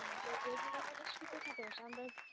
আমাদের regular হলে ছোটখাটো